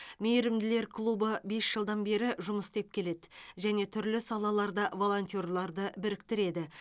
мейірімділер клубы бес жылдан бері жұмыс істеп келеді және түрлі салаларда волонтерларды біріктіреді